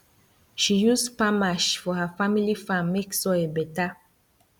she use palm ash for her family farm make soil better